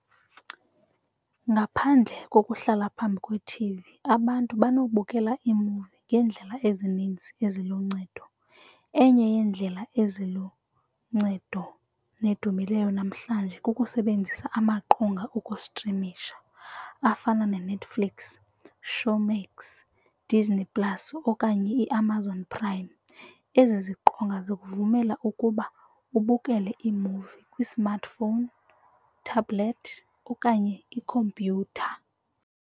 Ngaphandle kokuhlala phambi kwethivi abantu banobukela iimuvi ngeendlela ezininzi eziluncedo. Enye yeendlela eziluncedo nedumileyo namhlanje kukusebenzisa amaqonga okustrimisha afana neNetflix, Showmax, ooDisney plus okanye iAmazon Prime. Ezi ziqonga zikuvumela ukuba ubukele iimuvi kwi-smartphone tablet okanye ikhompyutha.